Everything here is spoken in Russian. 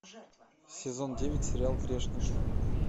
сезон девять сериал грешники